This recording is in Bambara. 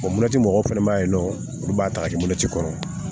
O mɔti mɔgɔw fɛnɛ ma ye nɔ olu b'a ta ka di moti kɔrɔ